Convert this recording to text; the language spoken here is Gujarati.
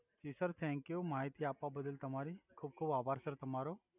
જિ સર થૅન્કયુ માહિતી આપ્વા બદલ તમારી ખુબ ખુબ આભાર તમારો